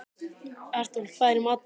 Artúr, hvað er í matinn?